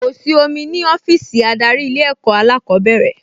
Kò sí omi ní ọ́fíìsì adarí Ilé-ẹ̀kọ́ alákọ̀ọ́bẹ̀rẹ̀